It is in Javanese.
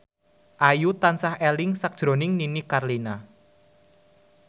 Ayu tansah eling sakjroning Nini Carlina